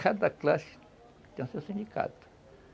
Cada classe tem o seu sindicato.